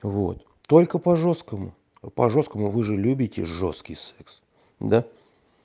вот только по жёсткому по жёсткому вы же любите жёсткий секс да